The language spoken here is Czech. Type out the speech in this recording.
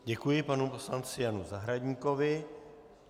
Děkuji panu poslanci Janu Zahradníkovi.